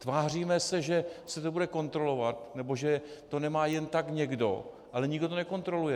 Tváříme se, že se to bude kontrolovat nebo že to nemá jen tak někdo, ale nikdo to nekontroluje.